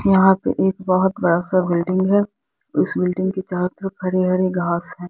यहां पे एक बहुत बड़ा सा बिल्डिंग है उस बिल्डिंग के चारों तरफ हरे-हरे घास है।